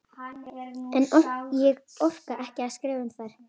En ég orka ekki að skrifa um þær.